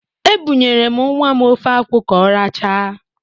Ebụnyere m nnwa m ofe akwụ ka ọ rachaa.